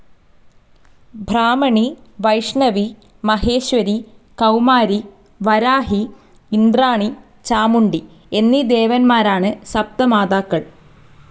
ബ്രാഹ്മണി, വൈഷ്ണവി, മഹേശ്വരി, കൌമാരി, വരാഹി, ഇന്ദ്രാണി, ചാമുണ്ഡി എന്നീ ദേവന്മാരാണ് സപ്തമാതാക്കൾ..